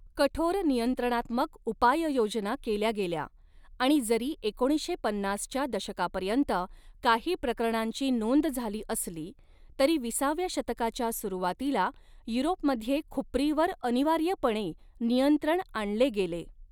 कठोर नियंत्रणात्मक उपाययोजना केल्या गेल्या आणि जरी एकोणीसशे पन्नासच्या दशकापर्यंत काही प्रकरणांची नोंद झाली असली, तरी विसाव्या शतकाच्या सुरवातीला युरोपमध्ये खुपरीवर अनिवार्यपणे नियंत्रण आणले गेले.